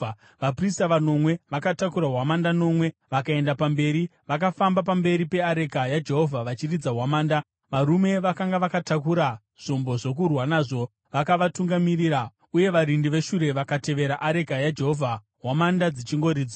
Vaprista vanomwe vakatakura hwamanda nomwe vakaenda pamberi, vakafamba pamberi peareka yaJehovha vachiridza hwamanda. Varume vakanga vakatakura zvombo zvokurwa nazvo vakavatungamirira uye varindi veshure vakatevera areka yaJehovha, hwamanda dzichingoridzwa.